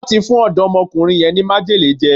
Wón ti fún ọ̀dọ́mọkùnrin yẹn ní májèlé jẹ